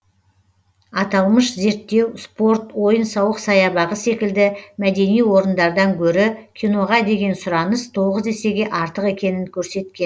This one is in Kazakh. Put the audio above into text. аталмыш зерттеу спорт ойын сауық саябағы секілді мәдени орындардан гөрі киноға деген сұраныс тоғыз есеге артық екенін көрсеткен